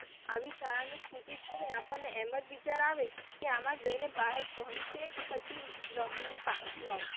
આવી શાળા ની સ્થિતિ જોઈને આપણ ને એમજ વિચાર આવે કે આમ જઈને બાળક ભણશે કે પછી રમીને પાછું આવશે.